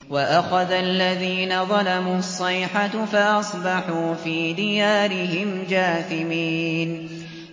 وَأَخَذَ الَّذِينَ ظَلَمُوا الصَّيْحَةُ فَأَصْبَحُوا فِي دِيَارِهِمْ جَاثِمِينَ